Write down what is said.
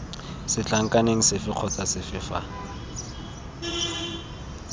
setlankaneng sefe kgotsa sefe fa